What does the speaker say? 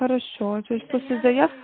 хорошо то есть ты создаёшь